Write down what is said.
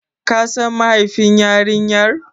Ka San mahaifin yarinyar?